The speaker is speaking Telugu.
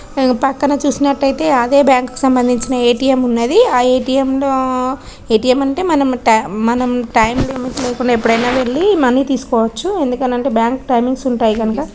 పక్కన చూసినట్టయితే అదే బ్యాంకు కి సంబంధించిన ఏ_టి_ఎం ఉన్నది. అ ఏ_టి_ఎం ల మనం టైం మనం టైం లిమిట్ లేకుండా ఎప్పుడైనా వెళ్లి మనీ తీసుకోవచ్చు. ఎందుకంటే బ్యాంకు టైమింగ్ ఉంటాయ్ గనుక.